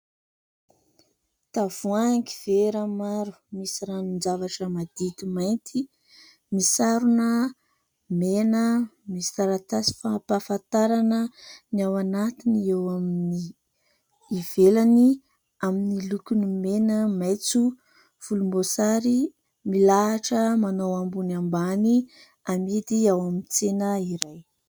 Tavoahangy vera maro misy ranon- javatra madity mainty, misarona mena, misy taratasy fampahafantarana ny ao anatiny eo amin'ny ivelany amin'ny lokony mena, maitso volombosary ; milahatra manao ambony ambany amidy ao amin'ny tsena iray.